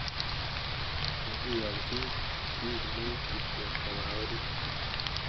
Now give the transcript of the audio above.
Kokiyonchi piik muut kityo kopa orit.